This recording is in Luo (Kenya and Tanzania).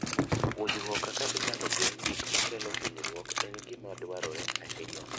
Puonjruok kaka inyalo geng' gik makelo hinyruok en gima dwarore ahinya.